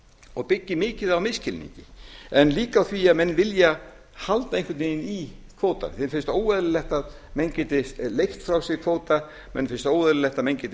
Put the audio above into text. og byggir mikið á misskilningi en líka á því að menn vilja halda einhvern veginn í kvótann þeim finnst það óeðlilegt að menn geti leigt frá sér kvóta mönnum finnst óeðlilegt að menn geti